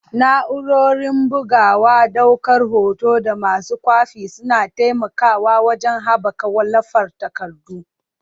Na'urorin bugawa, daukar hoto, da masu kwafi suna taimakawa wajen haɓaka wallafa takardu.